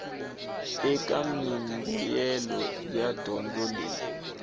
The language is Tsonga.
eka mimbuyelo ya dyondzo leyi